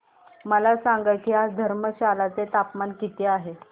मला सांगा की आज धर्मशाला चे तापमान किती आहे